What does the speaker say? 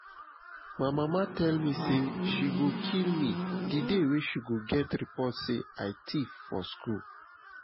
my mama tell me say she go kill me the day she go get report say i thief for school